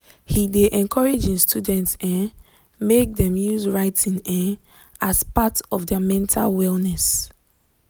he de encourage e students um make dem use writing um as part of their mental wellness.